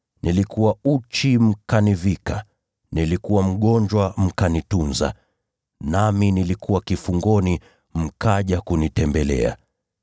nilikuwa uchi mkanivika, nilikuwa mgonjwa mkanitunza, nami nilikuwa kifungoni mkaja kunitembelea.’